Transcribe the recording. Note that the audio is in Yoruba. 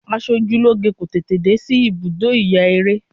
Asojúlóge kò tètè dé sí ibùdó ìyaeré.